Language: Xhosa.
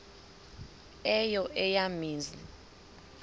eyo eya mizi